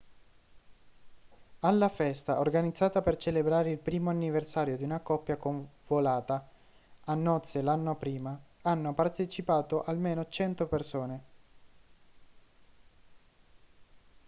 alla festa organizzata per celebrare il primo anniversario di una coppia convolata a nozze l'anno prima hanno partecipato almeno 100 persone